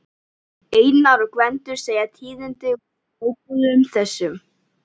Einar og Gvendur segja tíðindi úr sjóbúðunum, þessum